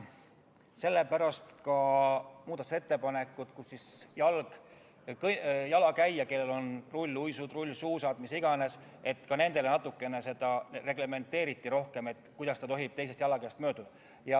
Sellepärast ka muudatusettepanekud, millega reglementeeriti natukene rohkem seda, kuidas tohib teisest jalakäijast mööduda selline jalakäija, kellel on all rulluisud, rullsuusad või mis iganes.